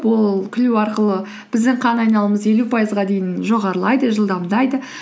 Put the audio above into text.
ол күлу арқылы біздің қан айналымыз елу пайызға дейін жоғарылайды жылдамдайды